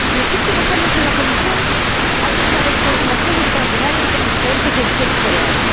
En los últimos años, en la Comisión ha habido una descoordinación extraordinaria entre las diferentes direcciones generales.